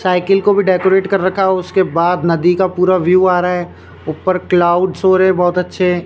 Cycle को भी decorate कर रखा है उसके बाद नदी का पूरा व्यू आ रहा है ऊपर क्लाउड्स हो रहे बहुत अच्छे।